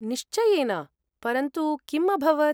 निश्चयेन, परन्तु किम् अभवत्?